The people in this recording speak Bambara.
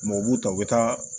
u b'u ta u bɛ taa